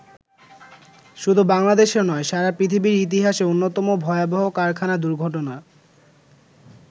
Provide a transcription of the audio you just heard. শুধু বাংলাদেশের নয়, সারা পৃথিবীর ইতিহাসে অন্যতম ভয়াবহ কারখানা দুর্ঘটনা।